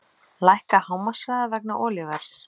Lækka hámarkshraða vegna olíuverðs